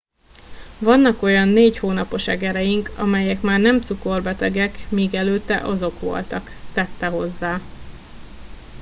vannak olyan négy hónapos egereink melyek már nem cukorbetegek míg előtte azok voltak - tette hozzá